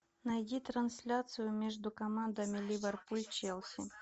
найди трансляцию между командами ливерпуль челси